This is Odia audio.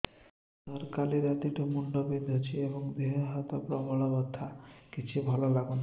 ସାର କାଲି ରାତିଠୁ ମୁଣ୍ଡ ବିନ୍ଧୁଛି ଏବଂ ଦେହ ହାତ ପ୍ରବଳ ବଥା କିଛି ଭଲ ଲାଗୁନି